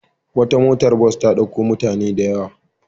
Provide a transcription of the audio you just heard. Wata motar bas ta ɗauko mutane da yawa.